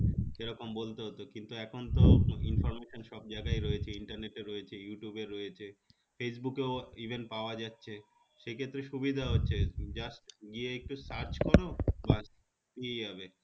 এরকম বলতে হতো কিন্তু এখনতো information সবজায়গায় রয়েছে internet এ রয়েছে ইউটুবে রয়েছে ফেসবুকেও even পাওয়া যাচ্ছে সেক্ষেত্রে সুবিধা হচ্ছে just গিয়ে একটু search করো বাস পেয়ে যাবে